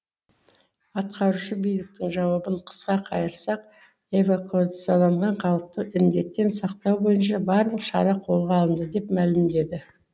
атқарушы биліктің жауабын қысқа қайырсақ эвакуацияланған халықты індеттен сақтау бойынша барлық шара қолға алынды деп мәлімдеді